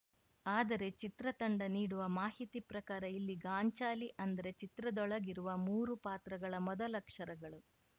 ಆದರೆ ಚಿತ್ರ ತಂಡ ನೀಡುವ ಮಾಹಿತಿ ಪ್ರಕಾರ ಇಲ್ಲಿ ಗಾಂಚಾಲಿ ಅಂದರೆ ಚಿತ್ರದೊಳಗಿರುವ ಮೂರು ಪಾತ್ರಗಳ ಮೊದಲಕ್ಷರಗಳು